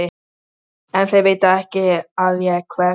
En þeir vita ekki að ég hverf.